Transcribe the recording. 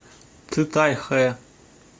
цитайхэ